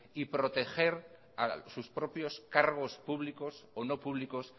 y proteger a sus propios cargos públicos o no públicos